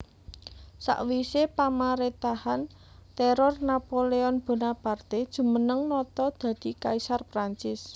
Sawisé pamarétahan téror Napoleon Bonaparte jumeneng nata dadi kaisar Prancis